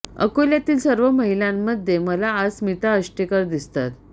अकोल्यातील सर्व महिलांनामध्ये मला आज स्मिता अष्टेकर दिसतात